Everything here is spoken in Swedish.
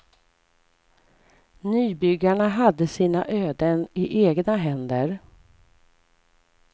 Nybyggarna hade sina öden i egna händer.